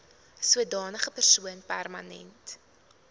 sodanige persoon permanent